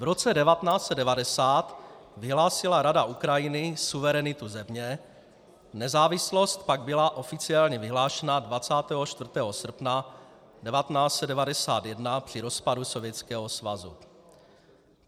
V roce 1990 vyhlásila Rada Ukrajiny suverenitu země, nezávislost pak byla oficiálně vyhlášena 24. srpna 1991 při rozpadu Sovětského svazu.